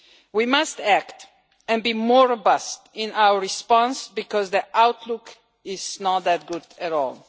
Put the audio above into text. We must act and be more robust in our response, because the outlook is not that good at all.